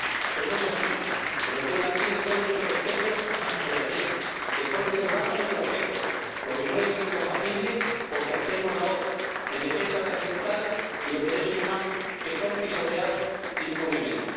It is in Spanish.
Pero no es así Venezuela tiene todo nuestro respeto a su soberanía y el pueblo venezolano, nuestro afecto, lo que no es incompatible con que alcemos la voz en defensa de las libertades y los derechos humanos que son pisoteados impunemente.